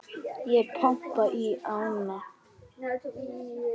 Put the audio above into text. Og pompa í ána?